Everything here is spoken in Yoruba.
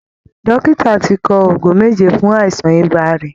Dòkìtà ti kọ òògùn méjè fún àìsàn ibà rẹ̀